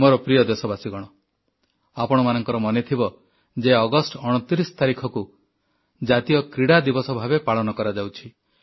ମୋର ପ୍ରିୟ ଦେଶବାସୀଗଣ ଆପଣମାନଙ୍କର ମନେଥିବ ଯେ ଅଗଷ୍ଟ 29 ତାରିଖକୁ ଜାତୀୟ କ୍ରୀଡ଼ାଦିବସ ଭାବେ ପାଳନ କରାଯାଉଛି